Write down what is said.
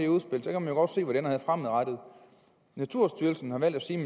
godt se hvor det ender henne fremadrettet naturstyrelsen har valgt at sige at